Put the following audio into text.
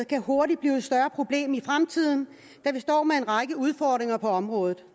kan hurtigt blive et større problem i fremtiden da vi står med en række udfordringer på området